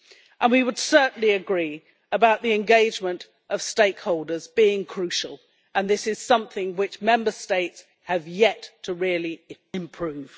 And we would certainly agree about the engagement of stakeholders being crucial and this is something which Member States have yet to really improve.